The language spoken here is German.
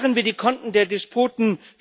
Sperren wir die Konten der Despoten!